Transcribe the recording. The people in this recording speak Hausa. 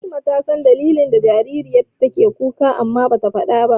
Fatima ta san dalilin da yasa jaririyar take kuka amma bata faɗa ba.